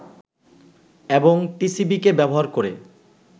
এবং টিসিবি কে ব্যবহার করে